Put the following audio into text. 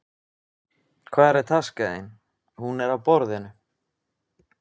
Hvar er taskan þín? Hún er á borðinu.